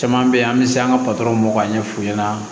Caman bɛ yen an bɛ se an ka patɔrɔn ma ka ɲɛ f'u ɲɛna